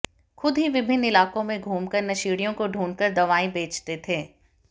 खुद ही विभिन्न इलाकों में घूमकर नशेड़ियों को ढूंढ़कर दवाएं बेचते थे